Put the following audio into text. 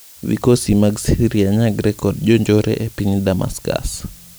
Vikosi mag Syria nyagre kod jonjore epiny Damascus